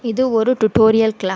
இது ஒரு tutorial class .